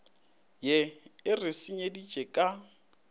ye e re senyeditšego ka